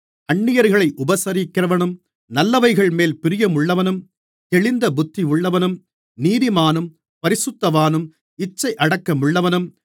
அந்நியர்களை உபசரிக்கிறவனும் நல்லவைகள்மேல் பிரியமுள்ளவனும் தெளிந்த புத்தியுள்ளவனும் நீதிமானும் பரிசுத்தவானும் இச்சையடக்கமுள்ளவனும்